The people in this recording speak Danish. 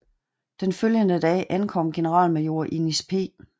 Den følgende dag ankom generalmajor Innis P